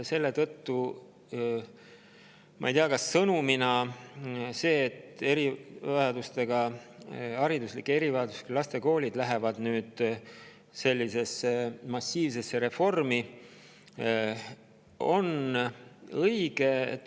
Seetõttu ma ei tea, kas see sõnumina, et hariduslike erivajadustega laste koolid lähevad nüüd sellisesse massiivsesse reformi, on õige.